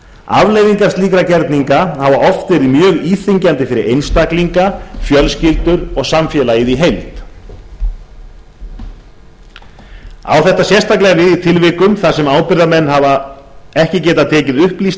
afleiðingar slíkra gerninga hafa oft verið mjög íþyngjandi fyrir einstaklinga fjölskyldur og samfélagið í heild á þetta sérstaklega við í tilvikum þar sem ábyrgðarmenn hafa ekki getað tekið upplýsta